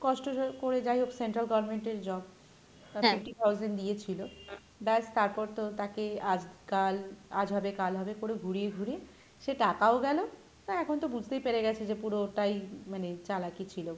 কষ্ট ক~করে যাইহোক central government এর jobআহ fifty thousand দিয়েছিলো, ব্যাস তারপর তো তাকে আজকাল আজ হবে কাল হবে করে ঘুরিয়ে ঘুরিয়ে সে টাকাও গেলো তা এখন তো বুঝতেই পেরে গেছে যে পুরোটাই মানে চালাকি ছিলো,